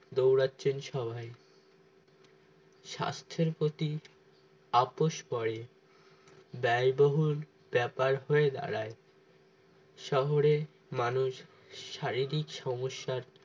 দৌড়াচ্ছেন সবাই স্বাস্থ্যের প্রতি আপস পরে ব্যয়বহন ব্যাপার হয়ে দাঁড়ায় শহরে মানুষ শারীরিক সমস্যার